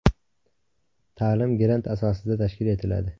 Ta’lim grant asosida tashkil etiladi.